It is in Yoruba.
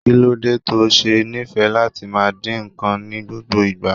Kí ló dé to ṣe nífẹ̀ẹ́ láti máa dín nǹkan ní gbogbo ìgbà?